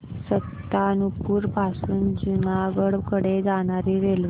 सुल्तानपुर पासून जुनागढ कडे जाणारी रेल्वे